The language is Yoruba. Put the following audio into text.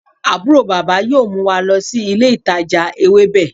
Aburo baba yoo mu wa lọ si ile itaja Ewebe